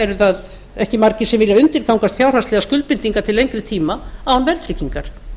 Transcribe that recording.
eru það ekki margir sem vilja undirgangast fjárhagslegar skuldbindingar til lengri tíma án verðtryggingar